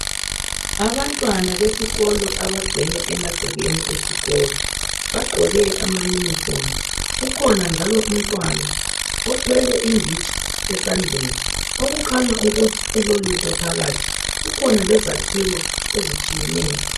Abantwana besikolo abagcwele emagcekeni esikolo, bagqoke ama uniform. Kukhona njalo umntwana othwele inditshi esandleni okukhanya ukuthi ilolutho phakathi , kukhona lezakhiwo ezitshiyeneyo.